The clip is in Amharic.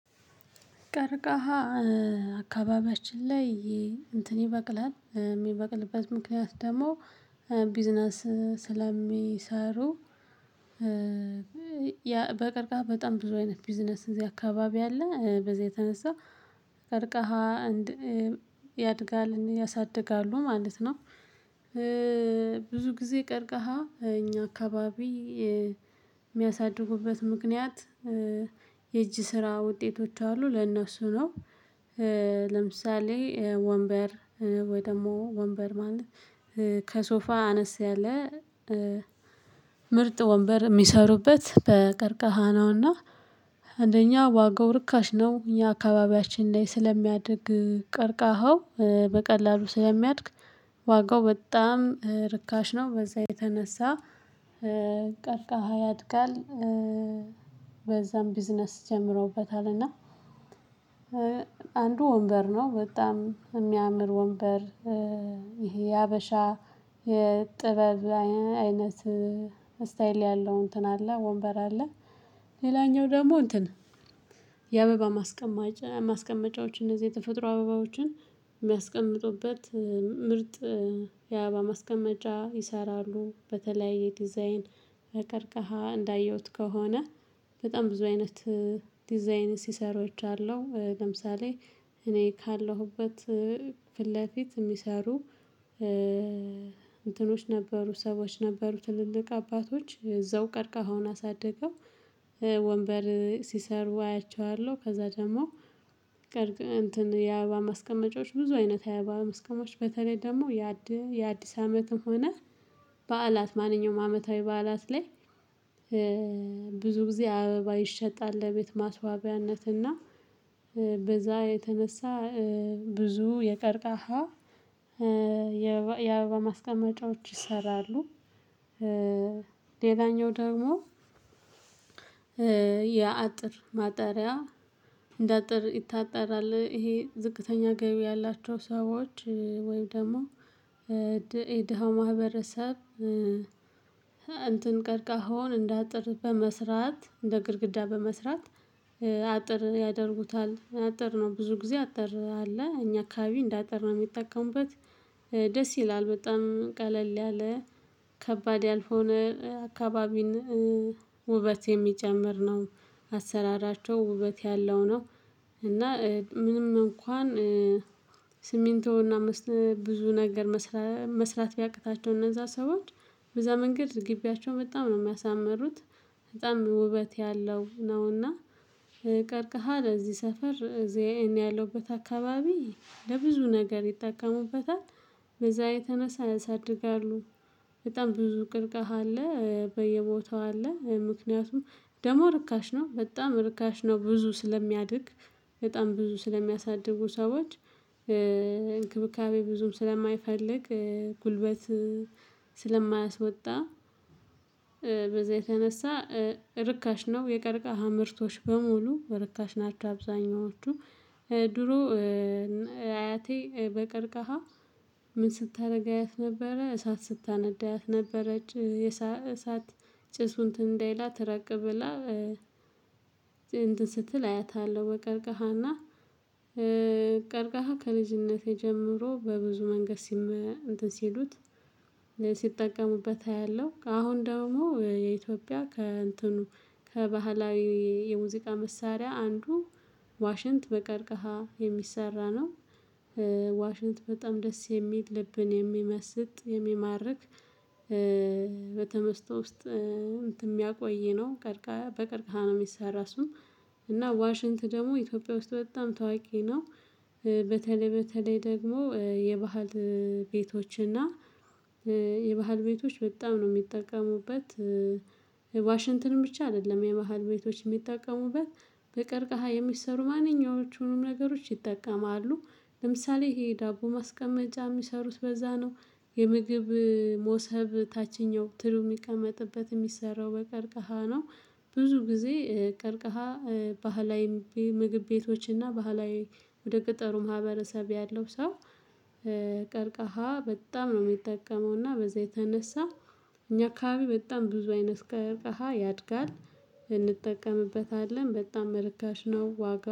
ቀርቃሃ አካባቢያችን ላይ እንትን ይበቅላል የሚበቅልበት ምክንያት ደግሞ ቢዝነስ ስለሚሰሩ በቀርካሃ በጣም ብዙ አይነት ቢዝነስ እዚህ አካባቢ አለ፤ በዚህ የተነሳ ቀርካሃ ያድጋል ያሳድጋሉ ማለት ነው ብዙ ጊዜ ቀርካሃ እኛ አካባቢ የሚያሳድጉበት ምክንያት የእጅ ስራ ውጤቶች አሉ ለእነሱ ነው ለምሳሌ ወንበር፤ ወይ ደግሞ ወንበር ማለት ከሶፋ አነስ ያለ ምርጥ ወንበር ሚሰሩበት በቀርካሃ ነውና አንደኛ ዋጋው ርካሽ ነው። እኛ አካባቢያችን ላይ ስለሚያድግ ቀርቃካሃው በቀላሉ ስለሚያድግ ዋጋው በጣም ርካሽ ነው በዛ የተነሳ ቀርካሃ ያድጋል፤ በዛም ቢዝነስ ጀምረዉበታልና አንዱ ወንበር ነው በጣም የሚያምር ወንበር ይሄ የሀበሻ የጥበብ አይነት ስታይል ያለው እንትን አለ ወንበር አለ ሌላኛው ደግሞ እንትን የአበባ ማስቀመጫዎች እነዚህ የተፈጥሮ አበባዎችን ሚያስቀምጡበት ምርጥ የአበባ ማስቀመጫ ይሰራሉ በተለያየ ዲዛይን ከቀርቀሃ። እንዳየሁት ከሆነ በጣም ብዙ አይነት ዲዛይን ሲሰሩ አይቻለው። ለምሳሌ እኔ ካለሁበት ፊት ለፊት ሚሰሩ እንትኖች ነበሩ፤ ሰዎች ነበሩ ትልልቅ አባቶች እዛው ቀርካሃውን አሳድገው ወንበር ሲሰሩ አያቸዋለሁ ከዛ ደግሞ እንትን የአበባ ማስቀመጫዎች ብዙ አይነት የአበባ ማስቀመጫዎች በተለይ ደግሞ የአዲ የአዲስ አመትም ሆነ በዓላት ማንኛውም አመታዊ በዓላት ላይ ብዙ ጊዜ አበባ ይሸጣል ለቤት ማስዋቢያነት እና በዛ የተነሳ ብዙ የቀርካሃ የአበባ ማስቀመጫዎች ይሰራሉ ሌላኛው ደግሞ የአጥር ማጠሪያ እንደ አጥር ይታጠራል ይሄ ዝቅተኛ ገቢ ያላቸው ሰዎች ወይም ደግሞ የድሃው ማህበረሰብ እንትን ቀርካሃዉን እንደ አጥር በመስራት፤ እንደ ግድግዳ በመስራት አጥር ያደርጉታል፤ አጥር ነው ብዙ ጊዜ አጥር አለ እኛ አካባቢ እንደ አጥር ነው ሚጠቀሙበት፤ ደስ ይላል በጣም ቀለል ያለ ከባድ ያልሆነ የአካባቢን ውበት የሚጨምር ነው። አሰራራቸው ውበት ያለው ነው እና ምንም እንኳን ስሚንቶና ብዙ ነገር መስራት ቢያቅታቸው እነዛ ሰዎች በዛ መንገድ ግቢያቸው በጣም ነው ሚያሳምሩት በጣም ውበት ያለው ነውና ቀርካሃ ለዚህ ሰፈር እዛ እኔ ያለውበት አካባቢ ለብዙ ነገር ይጠቀሙበታል በዛ የተነሳ ያሳድጋሉ። በጣም ብዙ ቀርካሃ አለ፤ በየቦታው አለ ምክንያቱም ደሞ ርካሽ ነው በጣም ርካሽ ነው ብዙ ስለሚያድግ በጣም ብዙ ስለሚያሳድጉ ሰዎች፤ እንክብካቤ ብዙም ስለማይፈልግ፤ ጉልበት ስለማያስወጣ የተነሳ ርካሽ ነው የቀርካሃ ምርቶች በሙሉ ርካሽ ናቸው አብዛኛዎቹ ድሮ አያቴ በቀርካሃ ምን ስታረግ አያት ነበረ፤ እሳት ስታነድ አያት ነበረ እሳት ጭሱ እንትን እንዳይላት ራቅ ብላ እንትን ስትል አያታለሁ በቀርካሃና ቀርካሃ ከልጅነቴ ጀምሮ በብዙ መንገድ ሲመ እንትን ሲሉት ሲጠቀሙበት አያለሁ፤ አሁን ደግሞ የኢትዮጵያ ከእንትኑ ከባህላዊ የሙዚቃ መሳሪያ አንዱ ዋሽንት በቀርካሃ የሚሰራ ነው ዋሽንት በጣም ደስ የሚል ልብን የሚመስጥ፣ የሚማርክ በተመስጦ ውስጥ እንትን ሚያቆይ ነው። ቀርካሃ በቀርካሃ ነው ሚሰራ እሱ እና ዋሽንት ደግሞ ኢትዮጵያ ውስጥ በጣም ተዋቂ ነው በተለይ በተለይ ደግሞ የባህል ቤቶችና የባህል ቤቶች በጣም ነው ሚጠቀሙበት ዋሽንትን ብቻ አይደለም የባህል ቤቶች ሚጠቀሙበት፤ በቀርካሃ የሚሰሩ ማንኛዎቹንም ነገሮች ይጠቀማሉ። ለምሳሌ ይሄ ዳቦ ማስቀመጫ ሚሰሩት በዛ ነው የምግብ ሞሰብ ታችኛው ትሪው ሚቀመጥበት ሚሰራው በቀርቀሃ ነው ብዙ ጊዜ ቀርካሃ ባህላዊ ምግብ ቤቶችና ባህላዊ ወደ ገጠሩ ማህበረሰብ ያለው ሰው ቀርካሃ በጣም ነው ሚጠቀመውና በዛ የተነሳ እኛ አከባቢ በጣም ብዙ አይነት ቀርካሃ ያድጋል፤ እንጠቀምበታለን በጣም እርካሽ ነው ዋጋ